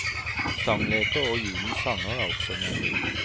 Sangleker og julens sanger er også med.